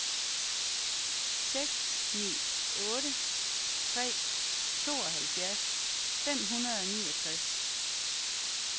seks ni otte tre tooghalvfjerds fem hundrede og niogtres